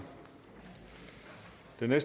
eller